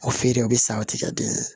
O feere o bɛ sa o tigɛ den ye